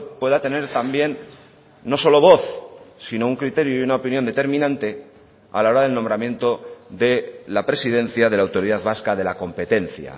pueda tener también no solo voz sino un criterio y una opinión determinante a la hora del nombramiento de la presidencia de la autoridad vasca de la competencia